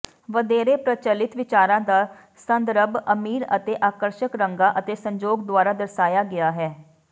ਵਧੇਰੇ ਪ੍ਰਚਲਿਤ ਵਿਚਾਰਾਂ ਦਾ ਸੰਦਰਭ ਅਮੀਰ ਅਤੇ ਆਕਰਸ਼ਕ ਰੰਗਾਂ ਅਤੇ ਸੰਜੋਗ ਦੁਆਰਾ ਦਰਸਾਇਆ ਗਿਆ ਹੈ